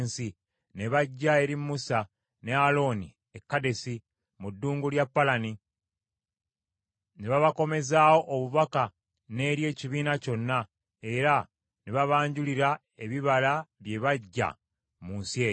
Ne bajja eri Musa ne Alooni e Kadesi mu ddungu lya Palani. Ne babakomezaawo obubaka n’eri ekibiina kyonna, era ne babanjulira ebibala bye baggya mu nsi eyo.